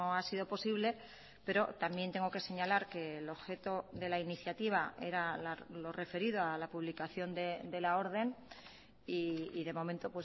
ha sido posible pero también tengo que señalar que el objeto de la iniciativa era lo referido a la publicación de la orden y de momento